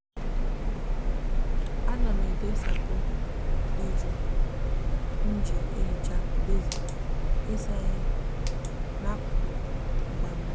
a na m e debe sapo di ju nji ehicha besin isa ihe na akuku mgba mmiri.